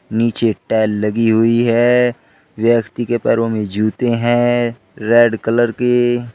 नीचे टैल लगी हुई है व्यक्ति के पैरों में जूते हैं रेड कलर की।